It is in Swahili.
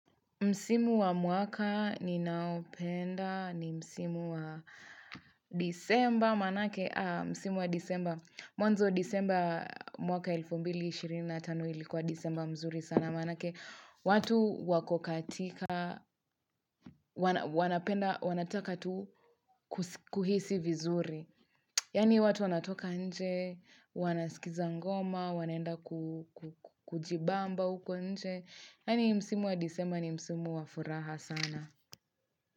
Msimu wa mwaka ninaopenda ni msimu wa disemba manake, aa, msimu wa disemba, mwanzo disemba mwaka elfu mbili ishirini na tano ilikuwa disemba mzuri sana manake, watu wakokatika, wanapenda, wanataka tu kuhisi vizuri. Yani watu wanatoka nje, wanasikiza ngoma, wanaenda kujibamba uko nje. Yani msimu wa disemba ni msimu wa furaha sana.